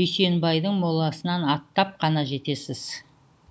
дүйсенбайдың моласынан аттап қана жетесіз